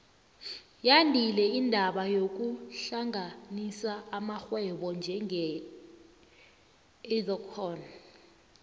yandile indaba yokuhlanganisa amarhwebo njenge edcon